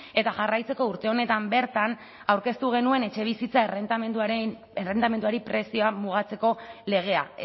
eta jarraitzeko urte honetan bertan aurkeztu genuen etxebizitza errendimenduari prezioak mugatzeko legea